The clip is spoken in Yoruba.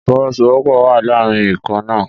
Ìfọwọ́sowọ́pọ̀ wà láàrin ikọ̀ náà.